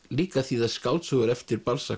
líka að þýða skáldsögur eftir